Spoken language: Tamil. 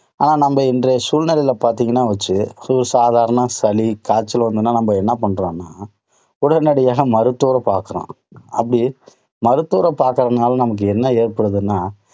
ஆனால் நம்ப இன்றைய சூழ்நிலையில பார்த்தீங்கன்னா வச்சு, ஒரு சாதாரண சளி காய்ச்சல் வந்துதுன்னா நம்ம என்ன பண்றோம் உடனடியாக மருத்துவரை பார்க்கிறோம். அப்படி மருத்துவரை பார்க்கிறதுனால நமக்கு என்ன ஏற்படுதுன்னா,